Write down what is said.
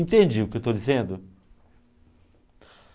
Entende o que eu estou dizendo?